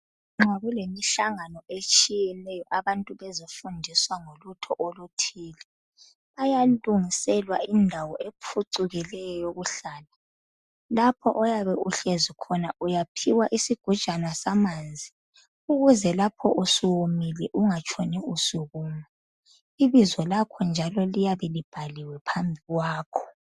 nxa kulemihlangano etshiyeneyo abantu bezofundiswa ngolutho oluthile bayalungiselwa indawo ephucukileyo yokuhla lapha oyabe uhlezi khona uyaphiwa isigujana samanzi ukuze lapho usuwomile ungatshoni usukuma ibizo lakho njalo liyabe libhaliwe phambi kwakho